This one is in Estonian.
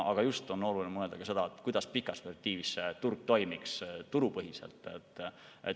Praegu on oluline mõelda ka seda, kuidas pikas perspektiivis turg toimiks turupõhiselt.